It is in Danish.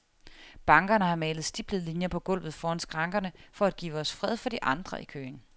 Bankerne har malet stiplede linjer på gulvet foran skrankerne for at give os fred for de andre i køen.